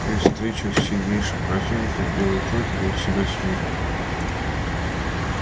при встречах с сильнейшим противником белый клык вёл себя смирно